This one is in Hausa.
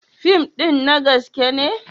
Fim ɗin na gaskiya ne?